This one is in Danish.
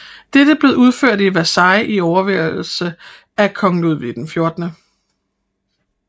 Dette blev udført i Versailles i overværelse af kong Ludvig XVI